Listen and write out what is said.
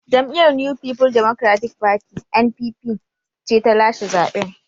Jam’iyyar New People Democratic Party (NNPP) ce ta lashe zaben.